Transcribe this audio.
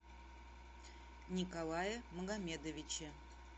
николае магомедовиче